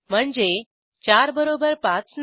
म्हणजे 4 बरोबर 5 नाही